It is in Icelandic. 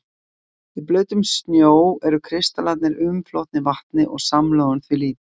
Í blautum snjó eru kristallarnir umflotnir vatni og samloðun því lítil.